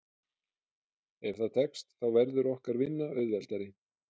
Ef það tekst þá verður okkar vinna auðveldari.